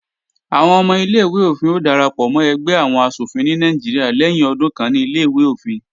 Àwọn ọmọ ilé-ìwé-òfin ó darapọ̀ mọ́ ẹgbẹ́ àwọn asòfin ní Nàìjíríà lẹ́yìn ọdún kan ní Ilé-ìwé òfin.